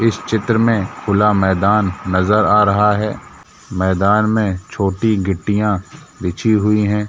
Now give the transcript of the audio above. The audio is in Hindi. इस चित्र में खुला मैदान नजर आ रहा है मैदान में छोटी गिट्टियां बिछी हुई हैं।